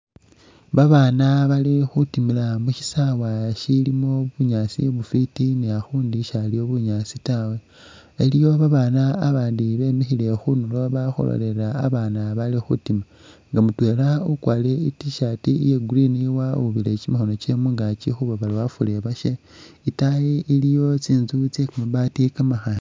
Babana bali khutimila mu shisaawa shimo bunyaasi bufwiti ni akhundi shaliwo bunyaasi tawe. Iliwo abaana bandi bemikhile khunulo bali khulolelela abaana baali khutima nga mutwela ukwarire i tshirt iya green wawubile kyimikhono kye mungakyi khuba bali afulile abashe, itayi iliyo tsintsu tse kamabati kamakhale.